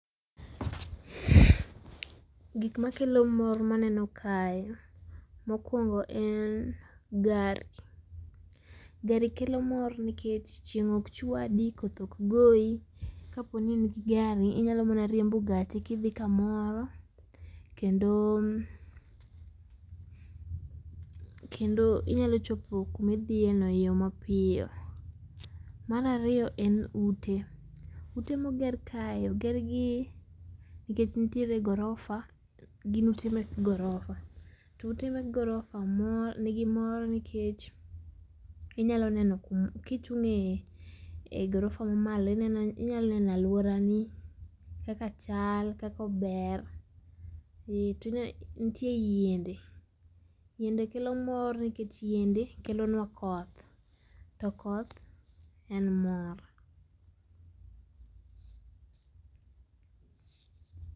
Gikma kelo mor maneno kae mokuongo en gari. Gari kelo mor nikech chieng' ok chwadi koth ok goyi, kaponi in gi gari inyalo mana riembo gachi kidhi kamoro kendo, kendo inyalo chopo kuma idhiye no e yoo mapiyo. Mar ariyo en ute, ute moger kae oger gi nikech nitie gorofa, gin ute mek gorofa to ute mek gorifa mor, nigi mor nikech ,inyalo neno, kichunge gorofa mamalo ineo inyalo neno aluora ni kaka chal kaka ber, eeh tinyal. Nitie yiende, yiende kelo mor nikech yiende kelo nwa koth, to koth en mor